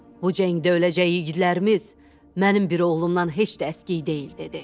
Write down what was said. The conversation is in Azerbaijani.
Bu cəngdə öləcək igidlərimiz mənim bir oğlumdan heç də əski deyil, dedi.